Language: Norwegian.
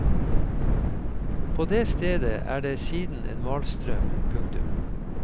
På det stedet er det siden en malstrøm. punktum